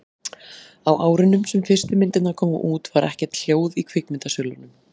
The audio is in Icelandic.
á árunum sem fyrstu myndirnar komu út var ekkert hljóð í kvikmyndasölunum